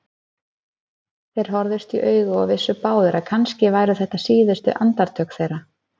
Þeir horfðust í augu og vissu báðir að kannski væru þetta síðustu andartök þeirra.